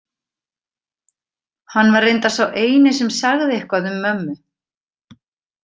Hann var reyndar sá eini sem sagði eitthvað um mömmu.